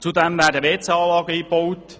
Zudem werden Toiletten eingebaut.